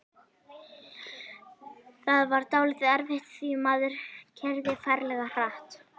Það var dálítið erfitt því maðurinn keyrði ferlega hratt.